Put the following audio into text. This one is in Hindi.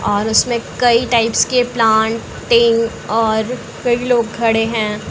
और उस में कई टाइप्स के प्लांटिंग और कई लोग खड़े हैं।